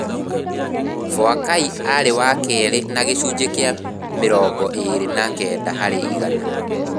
Boakai arĩ wa kerĩ na gĩcunjĩ kĩa mĩrongo ĩĩrĩ na kenda harĩ igana.